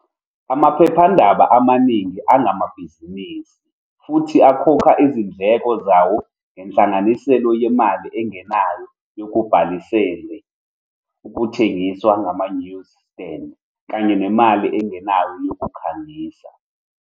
Amaphephandaba amaningi angamabhizinisi, futhi akhokha izindleko zawo ngenhlanganisela yemali engenayo yokubhaliselwe, ukuthengiswa kwama-newsstand, kanye nemali engenayo yokukhangisa.